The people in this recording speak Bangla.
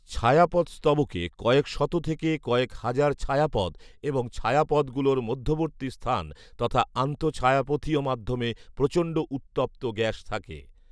ছায়াপথ স্তবকে কয়েক শত থেকে কয়েক হাজার ছায়াপথ এবং ছায়াপথগুলোর মধ্যবর্তী স্থান তথা আন্তঃছায়াপথীয় মাধ্যমে প্রচণ্ড উত্তপ্ত গ্যাস থাকে